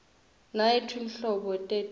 nanyfti nhlobo teti nkhungn